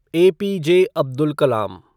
APJ. Abdul Kalam